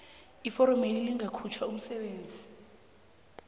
iforomeli lingakhutjhwa umsebenzi